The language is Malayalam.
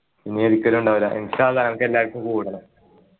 ഇനി ഒരിക്കലും ഉണ്ടാവില്ല ഇന്ഷാ അള്ളാ അനക്ക് എല്ലാരിക്കും കൂടണം